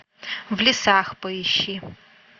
в лесах поищи